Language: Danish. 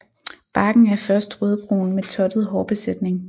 Barken er først rødbrun med tottet hårbesætning